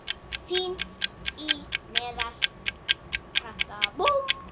Fín- Í meðal- Krafta